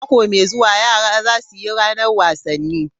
Mako mai zuwa, yara za su yi ranar wasanni.